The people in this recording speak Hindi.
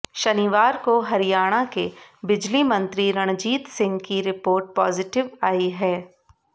शनिवार को हरियाणा के बिजली मंत्री रणजीत सिंह की रिपोर्ट पॉजिटिव आई है